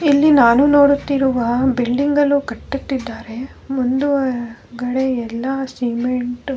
ಇಲ್ಲಿ ನಾನು ನೋಡುತ್ತಿರುವ ಬಿಲ್ಡಿಂಗ್ ಅನ್ನು ಕಟ್ಟುತ್ತಿದ್ದಾರೆ ಮುಂದುಗಡೆ ಎಲ್ಲ ಸಿಮೆಂಟ್ --